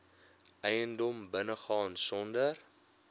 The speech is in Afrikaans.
eiendom binnegaan sonder